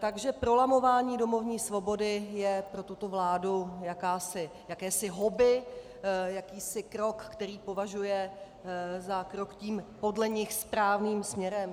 Takže prolamování domovní svobody je pro tuto vládu jakési hobby, jakýsi krok, který považuje za krok tím podle nich správným směrem.